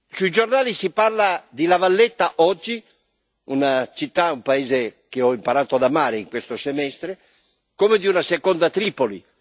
Sui giornali si parla di La Valletta oggi una città e un paese che ho imparato ad amare in questo semestre come di una seconda Tripoli.